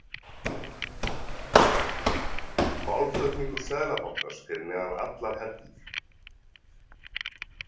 Málflutningur Seðlabankans fyrir neðan allar hellur